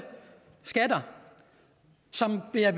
skatter som bliver